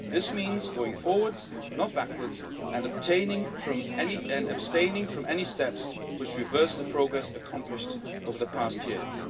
This means going forwards, not backwards, and abstaining from any steps which reverse the progress accomplished over the past years.